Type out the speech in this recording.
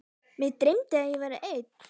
Mig dreymdi að ég væri einn.